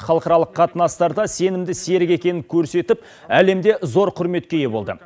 халықаралық қатынастарда сенімді серік екенін көрсетіп әлемде зор құрметке ие болды